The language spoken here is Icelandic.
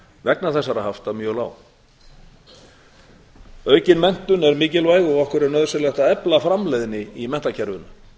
vegna þessara hafta mjög lág aukin menntun er mikilvæg og okkur er nauðsynlegt að efla framleiðni í menntakerfinu